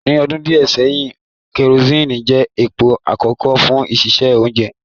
Ni ọdun diẹ sẹhin, kerosene jẹ epo akọkọ fun sise ounje